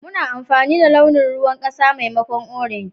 Muna amfani da launin ruwan kasa maimakon orange.